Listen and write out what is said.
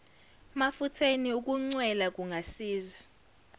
mafutheni ukuncwela kungasiza